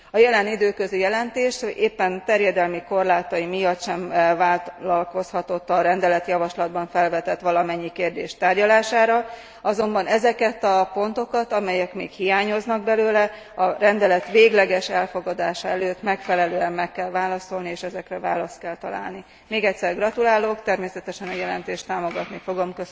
A jelen időközi jelentés éppen terjedelmi korlátai miatt sem vállalkozhatott a rendeletjavaslatban felvetett valamennyi kérdés tárgyalására, azonban ezeket a pontokat, amelyek még hiányoznak belőle, a rendelet végleges elfogadása előtt megfelelően meg kell válaszolni, és ezekre választ kell találni. Még egyszer gratulálok, természetesen a jelentést támogatni fogom.